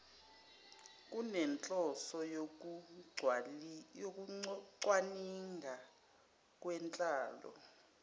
kunenhloso yokucwaninga ngenhlalo